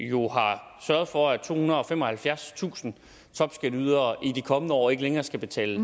jo har sørget for at tohundrede og femoghalvfjerdstusind topskatteydere i de kommende år ikke længere skal betale